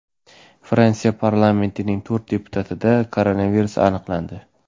Fransiya parlamentining to‘rt deputatida koronavirus aniqlandi.